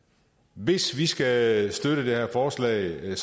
hvis vi skal støtte det her forslag